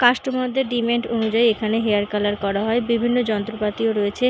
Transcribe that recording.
Customer -দের demand অনুযায়ী এখানে হেয়ার কালার করা হয় বিভিন্ন যন্ত্রপাতিও রয়েছে ।